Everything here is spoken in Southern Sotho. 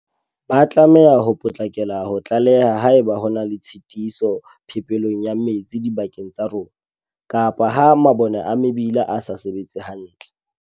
Ba tlameha ho potlakela ho tlaleha haeba ho na le tshitiso phepelong ya metsi dibakeng tsa rona, kapa ha mabone a mebileng a sa sebetse hantle.